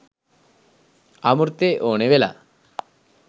අමෘතෙ ඕනෙ වෙලා